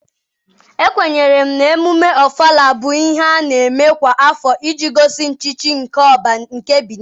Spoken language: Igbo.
Ekwenyere m na Ememme ọfala bụ ihe a na-eme kwa afọ iji gosi nchichi nke ỌBÁ nke Benin.